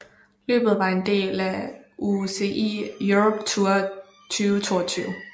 Løbet var en del af UCI Europe Tour 2022